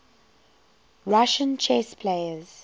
russian chess players